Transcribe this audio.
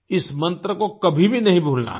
इस मंत्र को कभी भी नहीं भूलना है